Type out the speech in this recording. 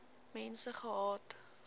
mense gehad